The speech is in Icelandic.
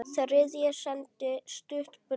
Þriðji sendi stutt bréf